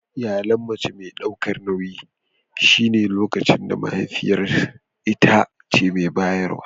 Iyalin mace mai daukar nauyi shine lokacin da mahaifiyar ita ce mai bayarwa.